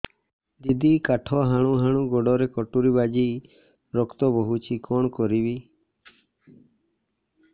ଦିଦି କାଠ ହାଣୁ ହାଣୁ ଗୋଡରେ କଟୁରୀ ବାଜି ରକ୍ତ ବୋହୁଛି କଣ କରିବି